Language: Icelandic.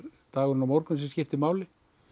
dagurinn á morgun sem skiptir máli